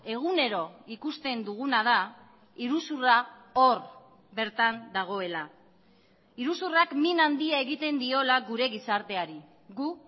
egunero ikusten duguna da iruzurra hor bertan dagoela iruzurrak min handia egiten diola gure gizarteari gu